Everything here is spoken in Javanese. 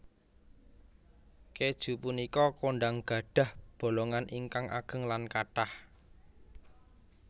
Kèju punika kondhang gadhah bolongan ingkang ageng lan kathah